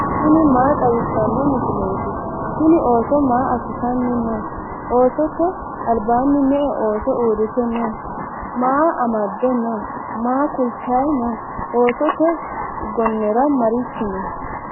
tini maa xawisano misileti? tini ooso maa asitani no?oosote albani me"e ooso urite no?maa amade no?maa kultayi no?oosote gonera marichi no?